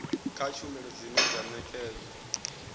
kha tshumelo dzine dza nekedzwa